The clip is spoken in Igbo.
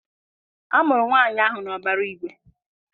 A mụrụ nwaanyị ahụ n'ọbara igwe.